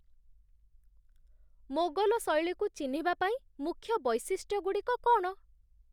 ମୋଗଲ ଶୈଳୀକୁ ଚିହ୍ନିବା ପାଇଁ ମୁଖ୍ୟ ବୈଶିଷ୍ଟ୍ୟଗୁଡ଼ିକ କ'ଣ?